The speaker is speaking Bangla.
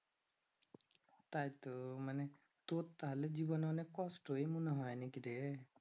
তাইতো মানে তোর তাহলে জীবনে অনেক কষ্ট হয় মনে হয় নাকি রে